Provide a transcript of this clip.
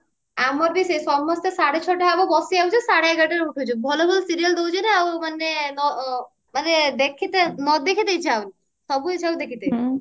ଆମର ବି ସେୟା ସମସ୍ତେ ସେଇ ସାଢେ ଛଅ ଟା ହବ ବସି ଯାଉଛେ ସାଢେ ଏଗାରଟା ହେଲେ ଉଠୁଛେ ଭଲ ଭଲ serial ଦଉଛି ନା ଆଉ ମାନେ ଆଁ ନ ମାନେ ଦେଖିତେ ନ ଦେଖିତେ ଇଛା ହଉନି